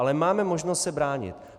Ale máme možnost se bránit.